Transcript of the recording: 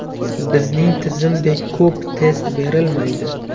Bizning tizimdagidek ko‘p test berilmaydi.